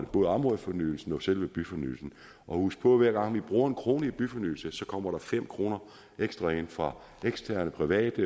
både områdefornyelsen og selve byfornyelsen husk på at hver gang vi bruger en krone i byfornyelse kommer der fem kroner ekstra ind fra eksterne private